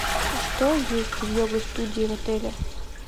что есть в йога студии в отеле